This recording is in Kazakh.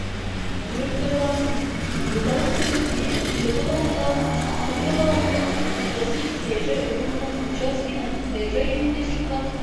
өрт байланысының орталық пунктіне телефон арқылы ақтөбе қаласының теплосеть саяжай ұжымының учаскенің саяжай үйінде шыққан